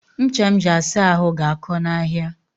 Ncha m ji asa ahụ ga-akọ n'ahịa